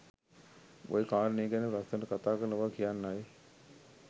ඔය කාරණය ගැන ලස්සනට කතා කරන බව කියන්නයි